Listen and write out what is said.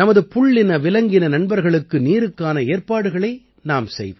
நமது புள்ளினவிலங்கின நண்பர்களுக்கு நீருக்கான ஏற்பாடுகளை நாம் செய்வோம்